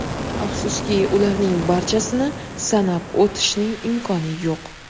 Afsuski, ularning barchasini sanab o‘tishning imkoni yo‘q.